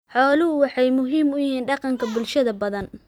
Xooluhu waxay muhiim u yihiin dhaqanka bulshooyin badan.